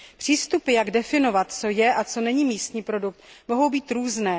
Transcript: Přístupy, jak definovat, co je a co není místní produkt, mohou být různé.